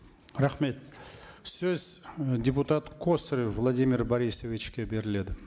рахмет сөз э депутат косарев владимир борисовичке беріледі